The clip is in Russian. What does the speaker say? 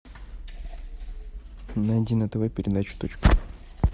найди на тв передачу точка